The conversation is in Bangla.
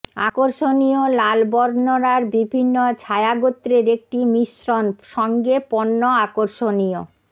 আকর্ষণীয় লাল বর্ণনার বিভিন্ন ছায়া গোত্রের একটি মিশ্রন সঙ্গে পণ্য আকর্ষণীয়